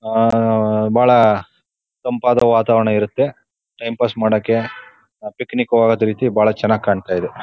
ಅಹ್ ಅಹ್ ಬಹಳ ತಂಪಾದ ವಾತಾವರಣ ಇರುತ್ತೆ. ಟೈಮ್ ಪಾಸ್ ಮಾಡೋಕೆ ಪಿಕ್ನಿಕ್ ಹೋಗೋದ್ರೀತಿ ಬಹಳ ಚನ್ನಾಗ್ ಕಾಣ್ತಾಇದೆ.